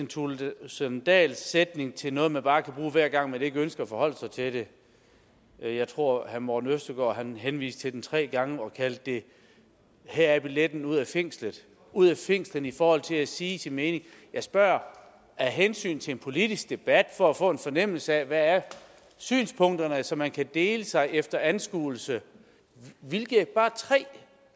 thulesen dahls sætning til noget man bare kan bruge hver gang man ikke ønsker at forholde sig til det jeg tror herre morten østergaard henviste til den tre gange og kaldte det her er billetten ud af fængslet ud af fængslet i forhold til at sige sin mening jeg spørger af hensyn til en politisk debat og for at få en fornemmelse af hvad synspunkterne er så man kan dele sig efter anskuelse hvilke bare tre